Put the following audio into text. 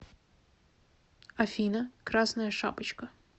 афина красная шапочка